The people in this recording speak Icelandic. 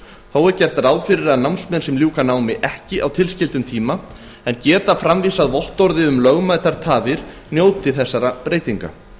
þó er gert ráð fyrir að námsmenn sem ljúka námi ekki á tilskildum tíma en geta framvísað vottorði um lögmætar tafir njóti þessara breytinga